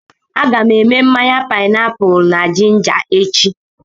A ga m èmè mmanya páịnápụlụ na jinja echi